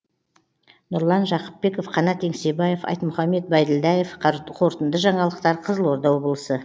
нұрлан жақыпбеков қанат еңсебаев айтмұхаммед байділдаев қорытынды жаңалықтар қызылорда облысы